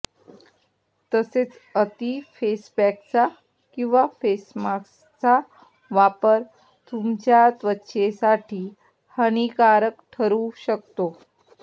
तसेच अति फेसपॅकचा किंवा फेसमास्कचा वापर तुमच्या त्वचेसाठी हानिकारक ठरू शकतं